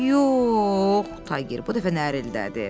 Yox, Tayger bu dəfə narıldadı.